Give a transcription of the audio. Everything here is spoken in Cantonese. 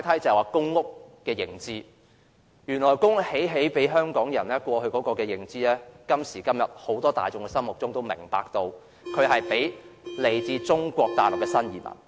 眾所周知，過往公屋興建給香港人居住，但時至今日，入住公屋的卻是來自中國大陸的新移民。